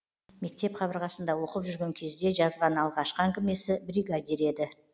мектеп қабырғасында оқып жүрген кезде жазған алғашқы әңгімесі бригадир еді